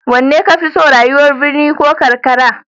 Wanne ka fi so, rayuwar birni ko karkara?